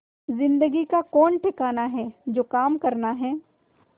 जिंदगी का कौन ठिकाना है जो काम करना है